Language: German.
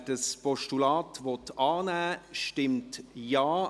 Wer das Postulat annehmen will, stimmt Ja,